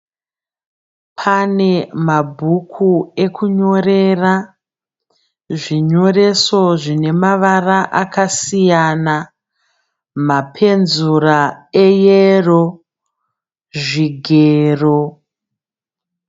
Pane mabhuku ekunyorera, zvinyoreso zvine mavara akasiyana, mapenzura eyero zvigero.